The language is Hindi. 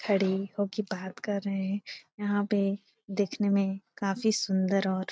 खड़ी हो के बात कर रहे हैं यहाँ पे देखने में काफी सुंदर और --